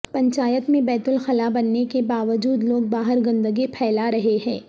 پنچایت میں بیت الخلاء بننے کے باوجود لوگ باہر گندگی پھیلارہےہیں